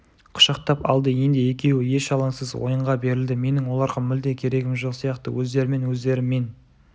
құшақтап алды енді екеуі еш алаңсыз ойынға берілді менің оларға мүлде керегім жоқ сияқты өздерімен-өздері мен